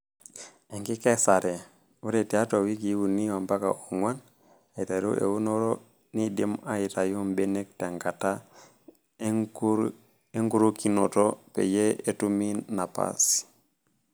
Enkikesare:Ore tiatua wikii uni ompaka ong'uan aiteru eunore neidimi aitayu mbenek tenkata enkurokinoto peyie etumi napasi.